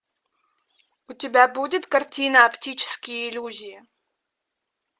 у тебя будет картина оптические иллюзии